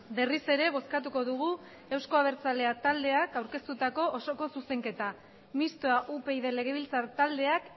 berriz ere bozkatuko dugu euzko abertzaleak taldeak aurkeztatutako osoko zuzenketa mistoa upyd legebiltzar taldeak